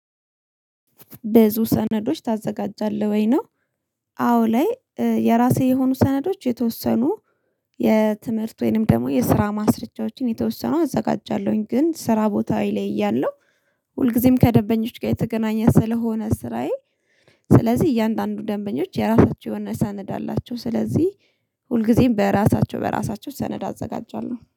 ብዙ ሰነዶች ታዘጋጃለህ ወይ ነው? አዎ ላይ የራሴ የሆኑ ሰነዶች የተወሰኑ የትምህርት ወይንም ደግሞ የስራ ማስረጃዎችን የተወሰኑ አዘጋጃለሁኝ። ግን ስራ ቦታዊ ላይ እያለሁ ሁልጊዜም ከደንበኞች ጋር የተገናኘ ስለሆነ ስራዬ። ስለዚህ እያንዳንዱ ደንበኞች የራሳቸውን ሰነድ አላቸው ስለዚህ ሁልጊዜም በራሳቸው በራሳቸው ሰነድ አዘጋጃለሁ